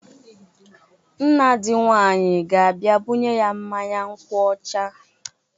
Nna dị nwaanyị ga-abia bunye ya mmanya nkwụ ọcha.